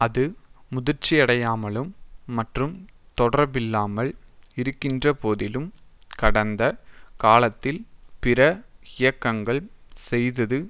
அது முதிர்ச்சியடையாமலும் மற்றும் தொடர்பில்லாமல் இருக்கின்றபோதிலும் கடந்த காலத்தில் பிற இயக்கங்கள் செய்தது